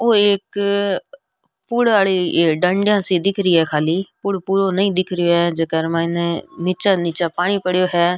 ओ एक फूल वाली डंडियां सी दिख री है खाली पूल पुरों नहीं दिख रा है जेकर र माइन निचा नीचा पानी पड़ो है।